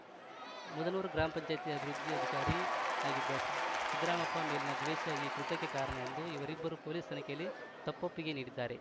ಮುದನೂರು ಗ್ರಾಮ ಪಂಚಾಯ್ತಿ ಅಭಿವೃದ್ಧಿ ಅಧಿಕಾರಿ ಆಗಿದ್ದ ಸಿದ್ ಸಿದ್ಧರಾಮಪ್ಪ ಮೇಲಿನ ದ್ವೇಷ ಈ ಕೃತ್ಯಕ್ಕೆ ಕಾರಣ ಎಂದು ಇವರಿಬ್ಬರು ಪೊಲೀಸ್‌ ತನಿಖೆಯಲ್ಲಿ ತಪ್ಪೊಪ್ಪಿಗೆ ನೀಡಿದ್ದಾರೆ